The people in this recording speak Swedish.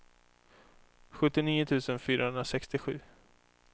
sjuttionio tusen fyrahundrasextiosju